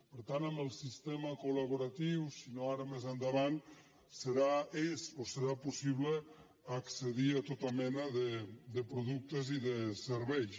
per tant amb el sistema colendavant serà és o ho serà possible accedir a tota mena de productes i de serveis